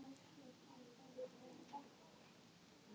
Stórt húrra fyrir því í dagbókinni.